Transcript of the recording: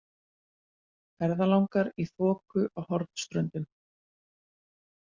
Ferðalangar í þoku á Hornströndum.